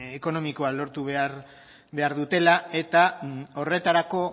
ekonomikoa lortu behar dutela eta horretarako